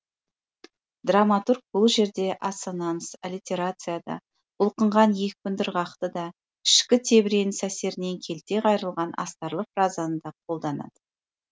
драматург бұл жерде ассонанс аллитерацияны да бұлқынған екпінді ырғақты да ішкі тебіреніс әсерінен келте қайрылған астарлы фразаны да қолданады